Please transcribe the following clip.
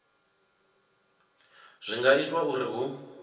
zwi nga itwa uri hu